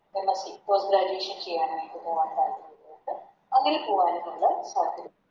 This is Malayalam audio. MSCPost graduation ചെയ്യാനായിട്ട് പൊറത്ത് അല്ലെങ്കിൽ എവിടെ പോകാനുമുള്ള